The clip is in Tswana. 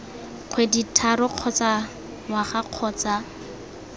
kgwedi tharo kgotsa ngwaga kgotsa